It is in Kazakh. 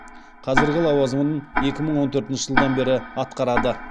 қазіргі лауазымын екі мың он төртінші жылдан бері атқарады